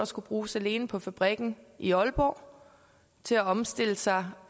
skulle bruges alene på fabrikken i aalborg til at omstille sig